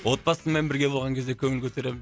отбасыммен бірге болған кезде көңіл көтеремін